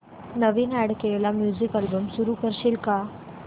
नवीन add केलेला music album सुरू करू शकशील का